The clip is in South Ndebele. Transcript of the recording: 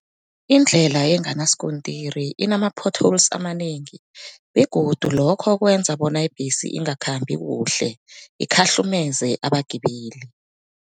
Indlela enganaskontiri inama potholes amanengi begodu lokho kwenza bona ibhesi ingakhambi kuhle, ikhahlumeze abagibeli.